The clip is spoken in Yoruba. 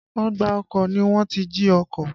Ọgbà ọkọ̀ ni wọ́n ti jí ọkọ̀.